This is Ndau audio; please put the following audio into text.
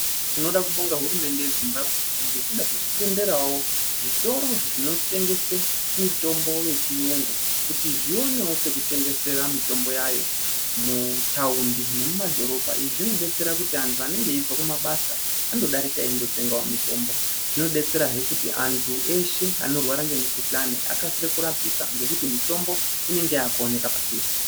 Tinoda kubonga hurumende yeZimbabwe ngekuda kwekutenderawo zvitorozvi zvinotengese mitombo yechiyungu kuti zvionewo pekutengesera mitombo yayo mutaundi nemumadhirobha. Izvi zvinodetsera kuti antu anonga iyibve kumabasa andodarika eyindotengawo mitombo. Zvinodetserahe kuti antu eshe anorwara nemukhuhlani akasire kurapika ngekuti mitombo inenge yakuoneka padhuze